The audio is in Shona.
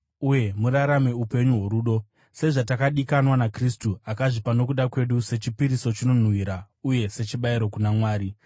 uye murarame upenyu hworudo, sezvatakadikanwa naKristu akazvipa nokuda kwedu sechipiriso chinonhuhwira uye sechibayiro kuna Mwari.